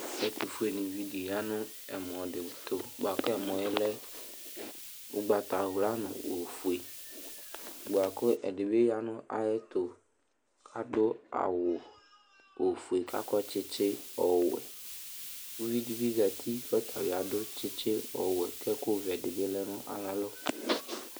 Ɛtʋfuenɩvi dɩ ya nʋ ɛmɔ dɩ tʋ bʋa kʋ ɛmɔ yɛ lɛ ʋgbatawla nʋ ofue bʋa kʋ ɛdɩ bɩ ya nʋ ayɛtʋ kʋ adʋ awʋ ofue kʋ akɔ tsɩtsɩ ɔwɛ Uvi dɩ bɩ zati kʋ ɔta bɩ adʋ tsɩtsɩ ɔwɛ kʋ ɛkʋvɛ dɩ bɩ lɛ nʋ ayalɔ